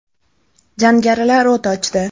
Jangarilar o‘t ochdi.